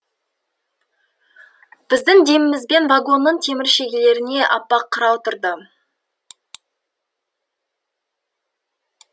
біздің демімізбен вагонның темір шегелеріне аппақ қырау тұрды